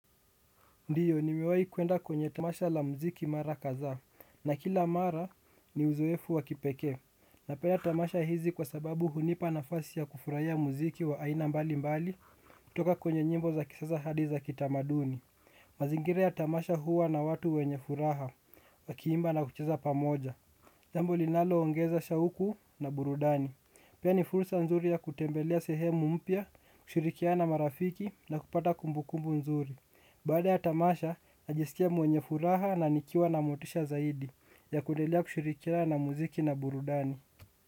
Ndiyo, nimiwai kwenda kwenye tamasha la muziki mara kadhaa, na kila mara ni uzoefu wa kipekee. Napenda tamasha hizi kwa sababu hunipa nafasi ya kufurahia muziki wa aina mbali mbali, kutoka kwenye nyimbo za kisasa hadi za kitamaduni. Mazingira ya tamasha huwa na watu wenye furaha, wakiimba na kucheza pamoja. Jambo linalo ongeza shauku na burudani. Pia ni furusa nzuri ya kutembelea sehemu mpya, kushirikiana na marafiki na kupata kumbukumbu nzuri. Baada ya tamasha, najiskia mwenye furaha na nikiwa na motisha zaidi ya kuedelea kushirikiana muziki na burudani.